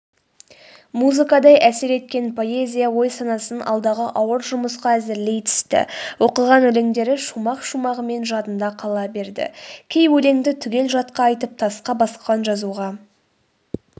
музыкадай әсер еткен поэзия ой-санасын алдағы ауыр жұмысқа әзірлей түсті оқыған өлеңдері шумақ-шумағымен жадында қала берді кей өлеңді түгел жатқа айтып тасқа басқан жазуға